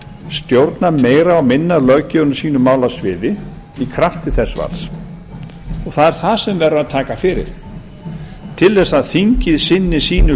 stjórnað meira og minna löggjöfinni á sínu málasviði í krafti þess valds það er það sem verður að taka fyrir til að þingið sinni sínu